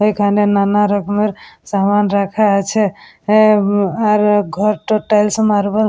এখানে নানা রকমের সামান রাখা আছে। আহ উম আর ঘরটা টাইলস মার্বেল --